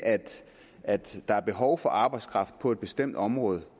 at der er behov for arbejdskraft på et bestemt område